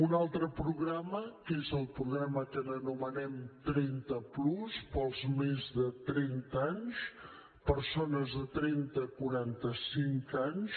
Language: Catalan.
un altre programa que és el programa que anomenem trenta plus per als de més trenta anys persones de trenta a quaranta cinc anys